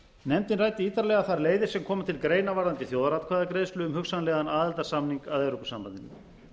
nefndin ræddi ítarlega þær leiðir sem koma til greina varðandi þjóðaratkvæðagreiðslu um hugsanlegan aðildarsamning að evrópusambandinu